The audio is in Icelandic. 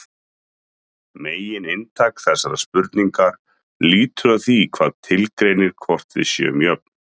Megininntak þessarar spurningar lítur að því hvað tilgreinir hvort við séum jöfn.